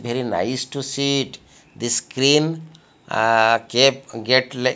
very nice to see it this screen ah cafe get la--